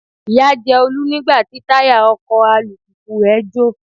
Ìyà jẹ Olú nígbà tí táyà ọkọ̀ alùpùpù rẹ jọ̀.